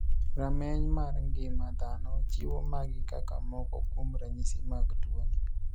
Rameny mar ng'ima dhano chiwo magi kaka maoko kuom ranyisi mag tuoni.